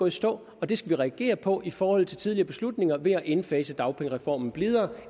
i stå og det skal vi reagere på i forhold til tidligere beslutninger ved at indfase dagpengereformen blidere